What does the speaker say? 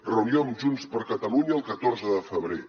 reunió amb junts per catalunya el catorze de febrer